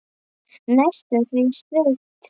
Næstum því sveit.